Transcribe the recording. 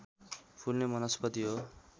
फुल्ने वनस्पति हो